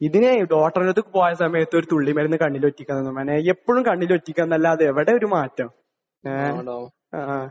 ഇതിനേ ഡോക്ടറുടെ അടുത്ത് പോയ സമയത്ത് ഒരു തുള്ളിമരുന്ന് കണ്ണിലൊഴിക്കാൻ തന്നു മോനെ. എപ്പോഴും കണ്ണിൽ ഒഴിക്കുക എന്നല്ലാതെ എവിടെ ഒരു മാറ്റം. ഏഹ്? ആഹ്.